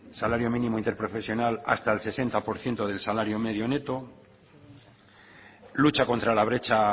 salario mínimo interprofesional hasta el setenta por ciento del salario medio neto lucha contra la brecha